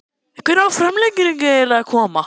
Hvenær á framlengingin eiginlega að koma??